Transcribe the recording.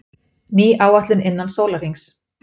Ný áætlun innan sólarhrings